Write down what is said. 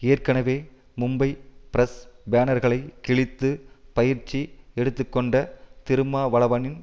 ஏற்கெனவே மும்பை பிரஸ் பேனர்களை கிழித்து பயிற்சி எடுத்துக்கொண்ட திருமாவளவனின்